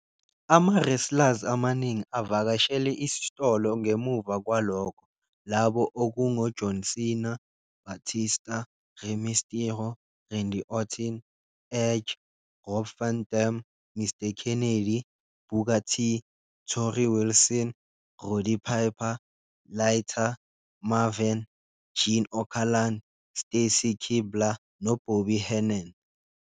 Ama-wrestlers amaningi avakashele isitolo ngemuva kwalokho, labo okungoJohn Cena, Batista, Rey Mysterio, Randy Orton, Edge, Rob Van Dam, Mr Kennedy, Booker T, Torrie Wilson, Roddy Piper, Lita, Maven, Gene Okerlund, Stacy Keibler noBobby Heenan.